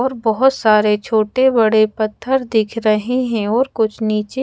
और बहुत सारे छोटे बड़े पत्थर दिख रहे है और कुछ नीचे--